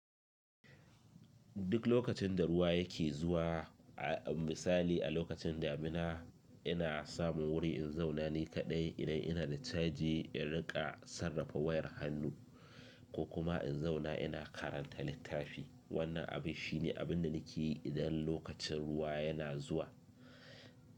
Duk lokacin da ruwa yake zuwa, a misali a lokacin damina, ina samun wuri in zauna ni kaɗai idan ina da caji in riƙa sarrafa wayar hannu ko kuma in zauna ina karanta littafi. Wannan abin shine abin da nake yi idan lokacin ruwa yana zuwa.